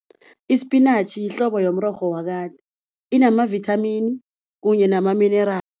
Isipinatjhi yihlobo yomrorho wakade inamavithamini kunye nama-mineral.